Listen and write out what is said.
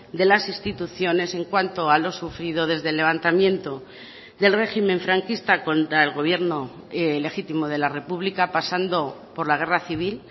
de las instituciones en cuanto a lo sufrido desde el levantamiento del régimen franquista contra el gobierno legítimo de la república pasando por la guerra civil